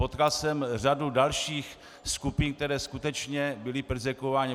Potkal jsem řadu dalších skupin, které skutečně byly perzekvovány.